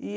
e